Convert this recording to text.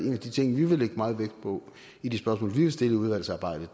en af de ting vi vil lægge meget vægt på i de spørgsmål vi vil stille i udvalgsarbejdet